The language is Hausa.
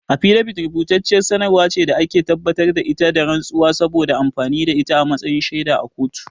Afidabit rubutacciyar sanarwar ce da ake tabbatar da ita da rantsuwa, saboda amfani da ita a matsayin shaida a kotu.